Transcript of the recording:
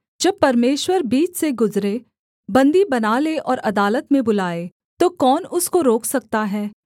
जब परमेश्वर बीच से गुजरे बन्दी बना ले और अदालत में बुलाए तो कौन उसको रोक सकता है